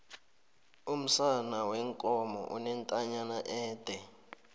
umsana weenkomo unentanyana ede